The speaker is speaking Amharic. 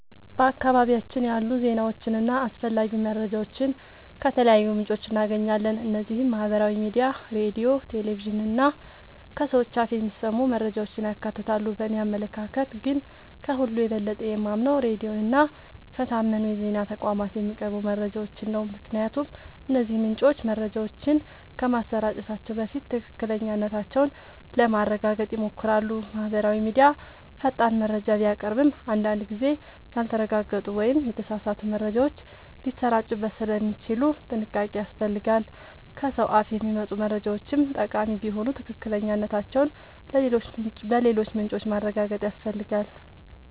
በአካባቢያችን ያሉ ዜናዎችንና አስፈላጊ መረጃዎችን ከተለያዩ ምንጮች እናገኛለን። እነዚህም ማህበራዊ ሚዲያ፣ ሬዲዮ፣ ቴሌቪዥን እና ከሰዎች አፍ የሚሰሙ መረጃዎችን ያካትታሉ። በእኔ አመለካከት ግን፣ ከሁሉ የበለጠ የማምነው ሬዲዮን እና ከታመኑ የዜና ተቋማት የሚቀርቡ መረጃዎችን ነው። ምክንያቱም እነዚህ ምንጮች መረጃዎችን ከማሰራጨታቸው በፊት ትክክለኛነታቸውን ለማረጋገጥ ይሞክራሉ። ማህበራዊ ሚዲያ ፈጣን መረጃ ቢያቀርብም፣ አንዳንድ ጊዜ ያልተረጋገጡ ወይም የተሳሳቱ መረጃዎች ሊሰራጩበት ስለሚችሉ ጥንቃቄ ያስፈልጋል። ከሰው አፍ የሚመጡ መረጃዎችም ጠቃሚ ቢሆኑ ትክክለኛነታቸውን በሌሎች ምንጮች ማረጋገጥ ያስፈልጋል።